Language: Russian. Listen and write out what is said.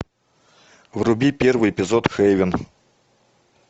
вруби первый эпизод хейвен